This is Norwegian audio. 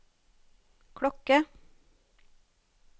klokke